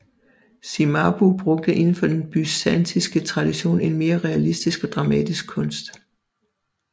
Cimabue brugte inden for den byzantinske tradition en mere realistisk og dramatisk kunst